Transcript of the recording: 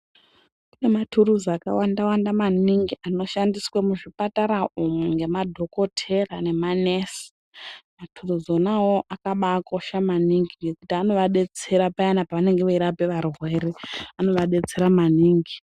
Kune mathuruzi akawanda -wanda maningi anoshandiswa muzvipatara umwu ngemadhokothera nemanesi. Mathuruzi ona awayo akakosha maningi ngekuti anovadetsera payani pevanenge veirapa varwere, anovadetsera maningi.